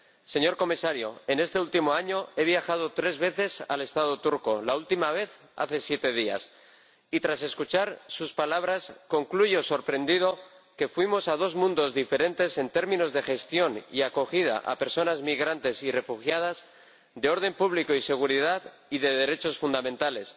Señor Comisario, en este último año he viajado tres veces al Estado turco —la última vez, hace siete días— y, tras escuchar sus palabras, concluyo sorprendido que fuimos a dos mundos diferentes en términos de gestión y acogida a personas migrantes y refugiadas, de orden público y seguridad y de derechos fundamentales.